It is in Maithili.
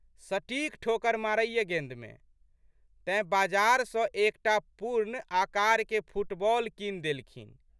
सटीक ठोकर मारैए गेंदमे। तेँ बाजार सँ एक टा पूर्ण आकारके फुटबॉल कीनि देलखिन।